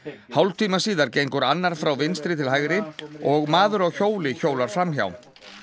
hálftíma síðar gengur annar frá vinstri til hægri og maður á hjóli hjólar fram hjá